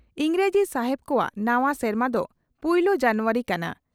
ᱤᱸᱜᱽᱨᱮᱡᱤ ᱥᱟᱦᱮᱵᱽ ᱠᱚᱣᱟᱜ ᱱᱟᱣᱟ ᱥᱮᱨᱢᱟ ᱫᱚ ᱯᱩᱭᱞᱟᱹ ᱡᱟᱱᱣᱟᱨᱤ ᱠᱟᱱᱟ ᱾